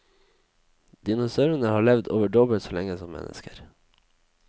Dinosaurene har levd over dobbelt så lenge som mennesker.